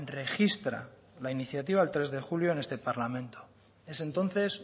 registra la iniciativa el tres de julio en este parlamento es entonces